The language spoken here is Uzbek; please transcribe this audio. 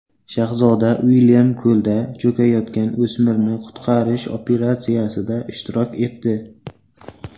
Shahzoda Uilyam ko‘lda cho‘kayotgan o‘smirni qutqarish operatsiyasida ishtirok etdi.